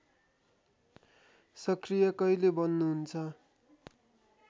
सक्रिय कहिले बन्नुहुन्छ